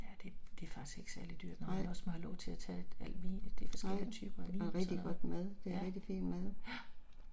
Nej. Nej. Noget rigtig godt mad, det er rigtig fin mad